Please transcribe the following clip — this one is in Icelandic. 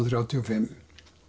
þrjátíu og fimm